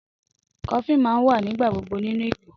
Coffin ma n wa nígbà gbogbo nínú ìgò